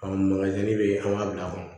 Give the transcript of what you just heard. bɛ yen an b'a bila kɔnɔ